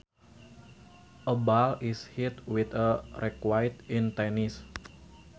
A ball is hit with a racquet in tennis